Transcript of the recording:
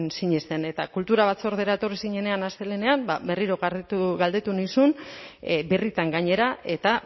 sinesten eta kultura batzordera etorri zinenean astelehenean berriro galdetu nizun birritan gainera eta